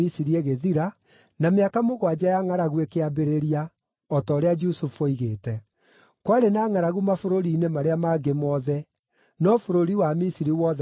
na mĩaka mũgwanja ya ngʼaragu ĩkĩambĩrĩria, o ta ũrĩa Jusufu oigĩte. Kwarĩ na ngʼaragu mabũrũri-inĩ marĩa mangĩ mothe, no bũrũri wa Misiri wothe warĩ na irio.